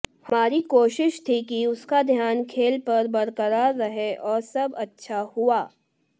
हमारी कोशिश थी कि उसका ध्यान खेल पर बरकरार रहे और सब अच्छा हुआ